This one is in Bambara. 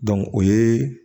o ye